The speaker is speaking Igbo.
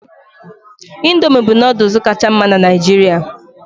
Indomị bụ nooduls kacha mma na Naijiria